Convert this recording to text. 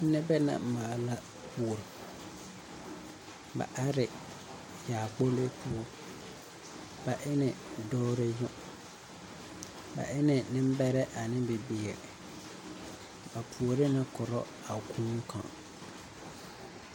Nebɛ nɛ maala kuori ba are yaakpolo poɔ ba ene dɔɔre yoŋ ba ene nembɛrɛ ane bibiiri ba puoru ne koro a kūū kaŋ.